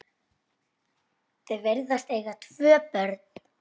Þau virðast eiga tvö börn.